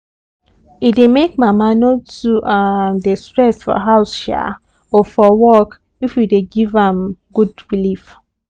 e dey make mama no too um dey stress for house um or for work if we dey give am um good belief